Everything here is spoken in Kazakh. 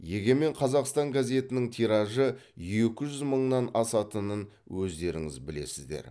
егемен қазақстан газетінің тиражы екі жүз мыңнан асатынын өздеріңіз білесіздер